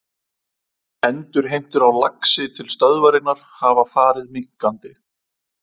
Endurheimtur á laxi til stöðvarinnar hafa farið minnkandi.